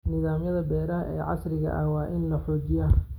Nidaamyada beeraha ee casriga ah waa in la xoojiyaa.